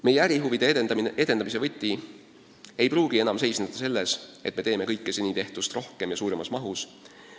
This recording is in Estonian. Meie ärihuvide edendamise võti ei pruugi enam seisneda selles, et teeme kõike rohkem kui seni, suuremas mahus.